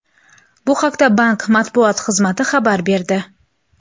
Bu haqda bank matbuot xizmati xabar berdi.